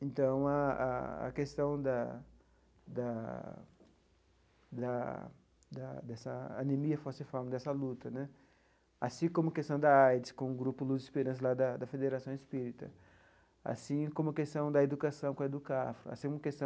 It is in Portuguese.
Então, a a a questão da da da da dessa anemia falciforme, dessa luta né, assim como a questão da AIDS com o Grupo Luz e Esperança da da Federação Espírita, assim como a questão da educação com a EDUCAFRO, assim como a questão